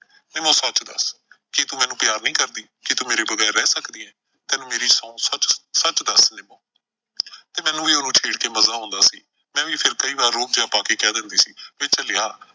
ਨਿੰਮੋ ਸੱਚ ਦੱਸ ਕੀ ਤੂੰ ਮੈਨੂੰ ਪਿਆਰ ਨਈਂ ਕਰਦੀ, ਕੀ ਤੂੰ ਮੇਰੇ ਬਗ਼ੈਰ ਰਹਿ ਸਕਦੀ ਐ। ਤੈਨੂੰ ਮੇਰੀ ਸੌਂਹ ਸੱਚ ਸੱਚ ਦੱਸ ਨਿੰਮੋ ਤੇ ਮੈਨੂੰ ਵੀ ਇਉਂ ਛੇੜ ਕੇ ਮਜ਼ਾ ਆਉਂਦਾ ਸੀ, ਮੈਂ ਵੀ ਰੋਅਬ ਜਿਹਾ ਪਾ ਕੇ ਕਹਿ ਦਿੰਦੀ ਸੀ ਵੇ ਝੱਲਿਆ।